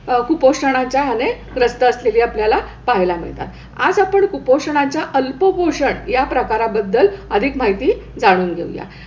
कुपोषणाच्या ह्याने ग्रस्त असलेली आपल्याला पाहायला मिळतात. आज आपण कुपोषणाच्या अल्पपोषण ह्या प्रकाराबद्दल अधिक माहिती जाणून घेऊया.